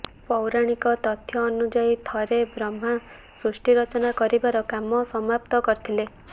ପୌରାଣିକ ତଥ୍ୟ ଅନୁଯାୟୀ ଥରେ ବ୍ରହ୍ମା ସୃଷ୍ଟି ରଚନା କରିବାର କାମ ସମାପ୍ତ କରିଥିଲେ